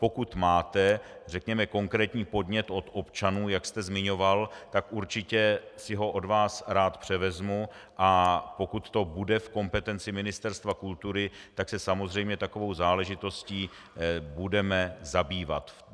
Pokud máte, řekněme, konkrétní podnět od občanů, jak jste zmiňoval, tak určitě si ho od vás rád převezmu, a pokud to bude v kompetenci Ministerstva kultury, tak se samozřejmě takovou záležitostí budeme zabývat.